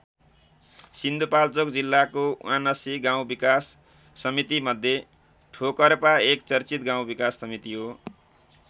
सिन्धुपाल्चोक जिल्लाको ७९ गाउँ विकास समितिमध्ये ठोकर्पा एक चर्चित गाउँ विकास समिति हो।